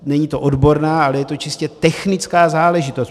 Není to odborná, ale je to čistě technická záležitost.